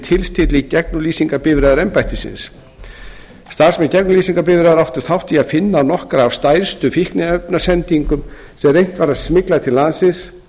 tilstilli gegnumlýsingarbifreiðar embættisins starfsmenn gegnumlýsingarbifreiðar áttu þátt í að finna nokkrar af stærstu fíkniefnasendingum sem reynt var að smygla til landsins